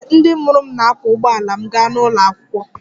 Ee, ndị mụrụ m na-akwọ ụgbọala m gaa ụlọ akwụkwọ